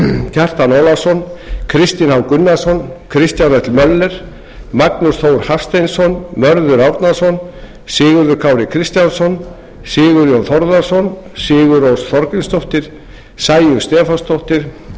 kjartan ólafsson kristinn h gunnarsson kristján l möller magnús þór hafsteinsson mörður árnason sigurður kári kristjánsson sigurjón þórðarson sigurrós þorgrímsdóttir sæunn stefánsdóttir